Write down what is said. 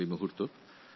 ভারতীয় গণতন্ত্রে